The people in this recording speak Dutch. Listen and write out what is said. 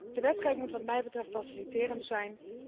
De wetgeving moet wat mij betreft faciliterend zijn.